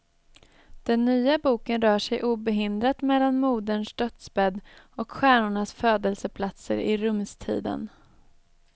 Den nya boken rör sig obehindrat mellan moderns dödsbädd och stjärnornas födelseplatser i rumstiden.